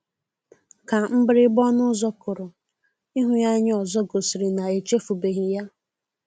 Ka mgbịrịgba ọnụ ụzọ kụrụ, ịhụ ya anya ọzọ gosiri na o echefubeghi ya.